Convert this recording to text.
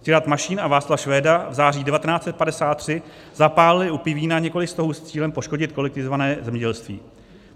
Ctirad Mašín a Václav Švéda v září 1953 zapálili u Pivína několik stohů s cílem poškodit kolektivizované zemědělství.